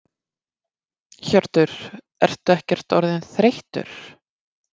Hjörtur: Ertu ekkert orðinn þreyttur?